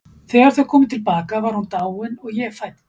Þegar þau komu til baka var hún dáin og ég fædd.